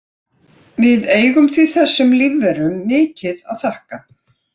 Við eigum því þessum lífverum mikið að þakka.